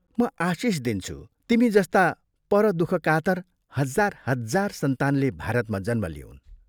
म आशीष दिन्छु, तिमी जस्ता परदुःखकातर हजार हजार सन्तानले भारतमा जन्म लिऊन्।